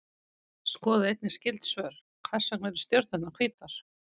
Skoðið einnig skyld svör: Hvers vegna eru stjörnurnar hvítar?